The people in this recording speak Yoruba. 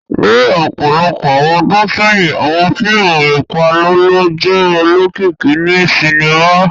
Ni ọpọlọpọ awọn ọ́dùn sẹyin, awọn fiimu ipalọlọ jẹ olokiki ni sinima.